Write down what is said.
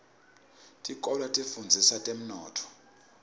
tikolwa tifundzisa temnotfo